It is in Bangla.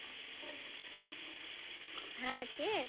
হ্যা কে?